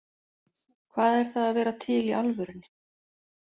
Hvað er það að vera til í alvörunni?